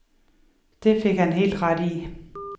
Det fik han helt ret i.